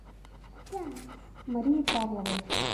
марии павловой